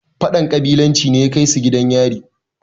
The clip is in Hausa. fadan ƙabilanci ne ya Kai su gidan yaro